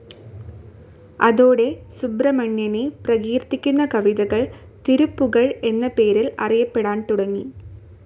അതോടെ സുബ്രഹ്മണ്യനെ പ്രകീർത്തിക്കുന്ന കവിതകൾ തിരുപ്പുകഴ് എന്ന പേരിൽ അറിയപ്പെടാൻ തുടങ്ങി.